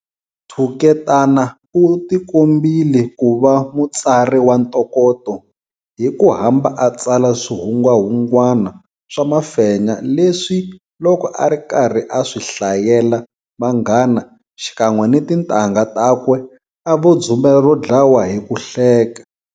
Thuketana u tikombile ku va mutsari wa ntokoto hi ku hamba a tsala swihungwahungwana swa mafenya leswi loko a ri karhi a swi hlayela vanghana xikan'we ni tintangha takwe a vo dzumbela ro dlawa hi ku hleka.